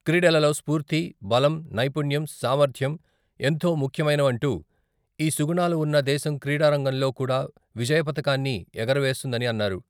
క్రీడలలో స్పూర్తి, బలం, నైపుణ్యం, సామర్థ్యం ఎంతో ముఖ్యమైనవంటూ ఈ సుగుణాలు ఉన్న దేశం క్రీడారంగంలో కూడా విజయపతాకాన్ని ఎగరవేస్తుందని అన్నారు.